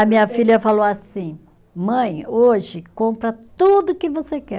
A minha filha falou assim, mãe, hoje compra tudo que você quer.